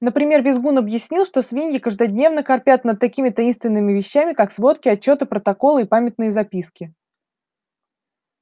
например визгун объяснил что свиньи каждодневно корпят над такими таинственными вещами как сводки отчёты протоколы и памятные записки